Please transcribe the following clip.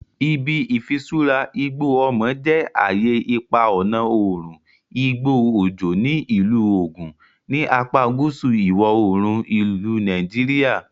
Ibi Ifisura Igbo Omo je aye ipa ọna oorun igbo ojo ni Ilu Ogun, ni apa guusu iwọ-oorun ilu Nigeria.